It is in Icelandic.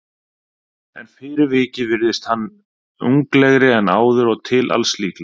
En fyrir vikið virðist hann unglegri en áður og til alls líklegur.